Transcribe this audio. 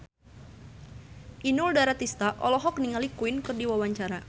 Inul Daratista olohok ningali Queen keur diwawancara